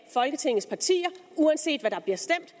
folketingets partier uanset hvad der bliver stemt